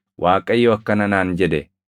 Waaqayyo akkana naan jedhe;